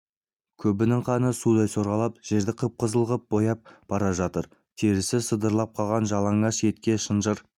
көбінің қаны судай сорғалап жерді қып-қызыл ғып бояп бара жатыр терісі сыдырылып қалған жалаңаш етке шынжыр